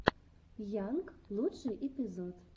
йанг лучший эпизод